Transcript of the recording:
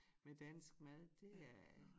Med dansk mad det er